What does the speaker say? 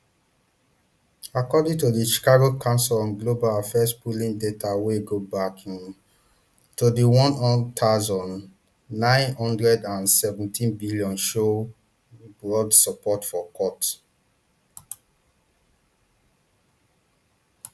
according to di chicago council on global affairs polling data wey go back um to di one thousand, nine hundred and seventys bin show um broad support for cuts